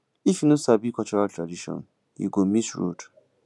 if you no sabi cultural tradition you go miss road